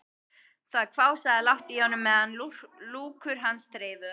Það hvásaði lágt í honum meðan lúkur hans þreifuðu hana.